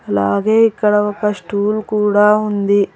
అలాగే ఇక్కడ ఒక స్టూల్ కూడా ఉంది.